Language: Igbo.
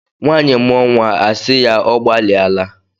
Nwaanyị mụọ nwa a asị ya "ọ gbalịa la".